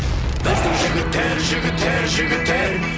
біздің жігіттер жігіттер жігіттер